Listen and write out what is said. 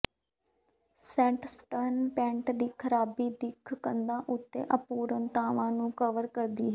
sandstone paint ਦੀ ਖਰਾਬੀ ਦਿੱਖ ਕੰਧਾਂ ਉੱਤੇ ਅਪੂਰਣਤਾਵਾਂ ਨੂੰ ਕਵਰ ਕਰਦੀ ਹੈ